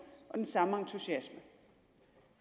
og den samme entusiasme